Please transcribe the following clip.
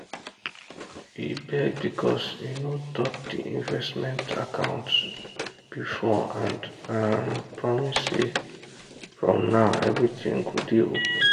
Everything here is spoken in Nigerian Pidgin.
e beg because e no talk the investment account before and um promise say from now everything go day open.